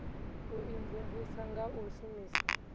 u imvumvusa nga u shumisa